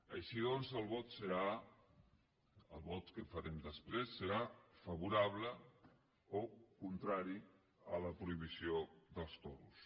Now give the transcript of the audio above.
així doncs el vot serà el vot que farem després serà favorable o contrari a la prohibició dels toros